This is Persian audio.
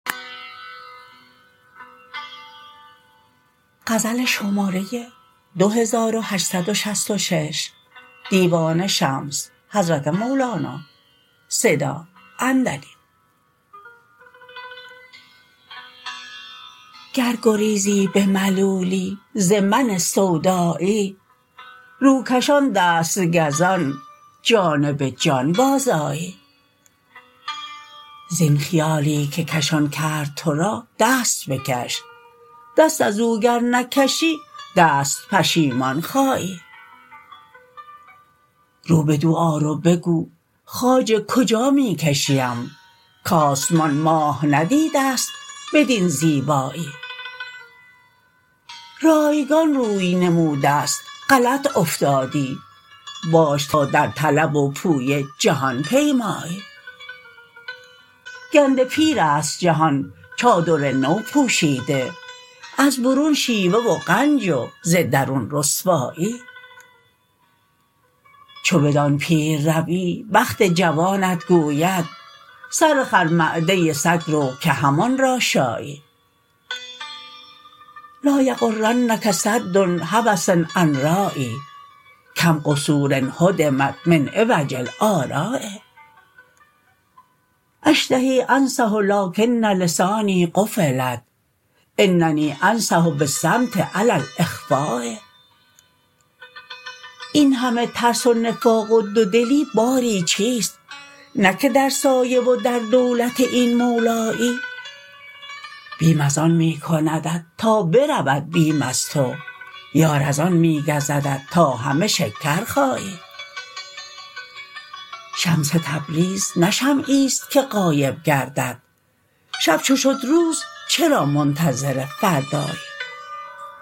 گر گریزی به ملولی ز من سودایی روکشان دست گزان جانب جان بازآیی زین خیالی که کشان کرد تو را دست بکش دست از او گر نکشی دست پشیمان خایی رو بدو آر و بگو خواجه کجا می کشیم کآسمان ماه ندیده ست بدین زیبایی رایگان روی نموده ست غلط افتادی باش تا در طلب و پویه جهان پیمایی گنده پیر است جهان چادر نو پوشیده از برون شیوه و غنج و ز درون رسوایی چو بدان پیر روی بخت جوانت گوید سرخر معده سگ رو که همان را شایی لا یغرنک سد هوس عن رایی کم قصور هدمت من عوج الا رآ اشتهی انصح لکن لسانی قفلت اننی انصح بالصمت علی الاخفا این همه ترس و نفاق و دودلی باری چیست نه که در سایه و در دولت این مولایی بیم از آن می کندت تا برود بیم از تو یار از آن می گزدت تا همه شکر خایی شمس تبریز نه شمعی است که غایب گردد شب چو شد روز چرا منتظر فردایی